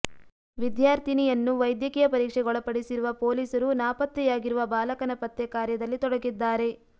ವಿದ್ಯಾರ್ಥಿನಿಯನ್ನು ವೈದ್ಯಕೀಯ ಪರೀಕ್ಷೆಗೊಳಪಡಿಸಿರುವ ಪೊಲೀಸರು ನಾಪತ್ತೆಯಾಗಿರುವ ಬಾಲಕನ ಪತ್ತೆ ಕಾರ್ಯದಲ್ಲಿ ತೊಡಗಿದ್ದಾರೆ